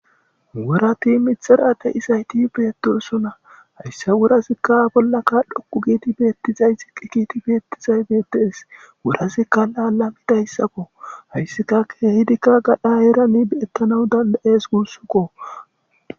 wurati mitxarade isayti beetoosona hayssa wurasikka bollaka dhoqu giiti beettizay xiqi kiti beettizay beedees wurasikka laala mi dayssakko hayssika keehidikka gadha eerani be7ettanawu dandayees gussukko